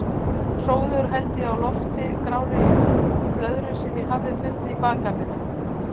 Hróðugur held ég á lofti grárri blöðru sem ég hafði fundið í bakgarðinum.